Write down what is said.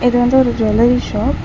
இது வந்து ஒரு ஜுவல்லரி ஷாப் .